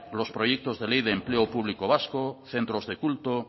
los proyectos de ley de empleo público vasco centros de culto